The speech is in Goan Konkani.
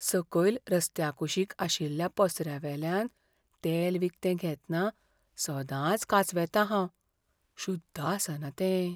सकयल रस्त्या कुशीक आशिल्ल्या पसऱ्यावेल्यान तेल विकतें घेतना सदांच कांचवेतां हांव. शुद्ध आसना तें.